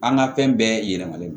An ka fɛn bɛɛ yɛlɛman le don